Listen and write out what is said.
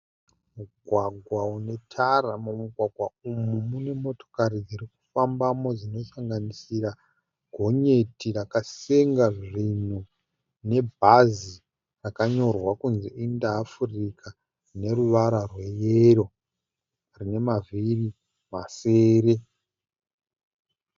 Mugwagwa une tara mumugwagwa umu mune motokari dziri kufambamo dzinosanganisira gonyeti rakasenga zvinhu nebhazi rakanyorwa kuti Inter Africa neruvara rweyero rine mavhiri masere